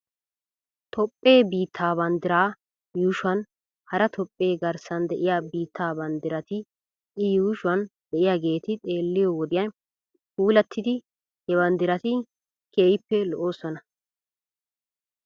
Toophphee biittaa banddiraa yuushuwan hara toophphee garssan de'iyaa biittaa banddirati i yuushuwan de'iyaageeti xeelliyoo wodiyan puulattidi he banddirati keehippe lo'oosona.